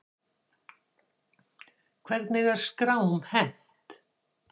Hvernig er skrám hent?